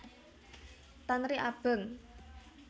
Tanri Abeng